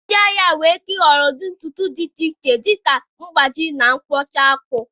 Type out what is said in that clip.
Ndị ahịa nwere ike ịhọrọ n'ụdị ntutu dị iche iche, dị ka ịgbaji, na mkpụcha akpụ.